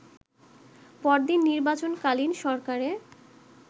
পরদিন নির্বাচনকালীন সরকারে